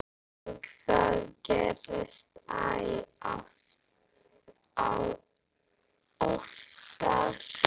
Og það gerðist æ oftar.